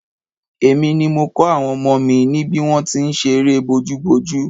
Èmi ni mo kọ́ àwọn ọmọ mi ní bí wọ́n ti ń ṣe eré bójúbojú